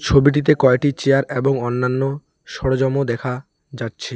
ছবিটিতে কয়টি চেয়ার এবং অন্যান্য সরোজামও দেখা যাচ্ছে।